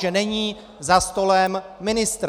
Že není za stolem ministr.